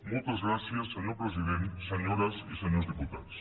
moltes gràcies senyor president senyores i senyors diputats